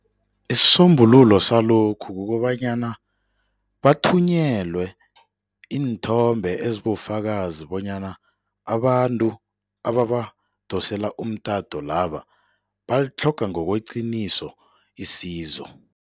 Isisombululo salokhu kukobanyana bathunyelwe iinthombe ezibofakazi bonyana abantu ababadosela umtato laba balitlhoga ngokweqiniso isizo.